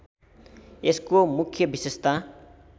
यसको मुख्य विशेषता